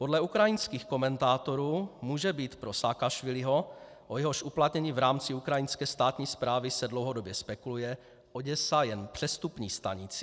Podle ukrajinských komentátorů může být pro Saakašviliho, o jehož uplatnění v rámci ukrajinské státní správy se dlouhodobě spekuluje, Oděsa jen přestupní stanicí.